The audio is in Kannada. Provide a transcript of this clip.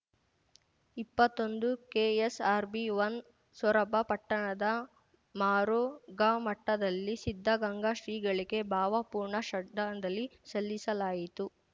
ಇಪ್ಪತ್ತೊಂದುಕೆಎಸ್‌ಆರ್‌ಬಿವನ್ ಸೊರಬ ಪಟ್ಟಣದ ಮರುಘಾಮಠದಲ್ಲಿ ಸಿದ್ದಗಂಗಾ ಶ್ರೀಗಳಿಗೆ ಭಾವಪೂರ್ಣ ಶ್ರದ್ಧಾಂಜಲಿ ಸಲ್ಲಿಸಲಾಯಿತು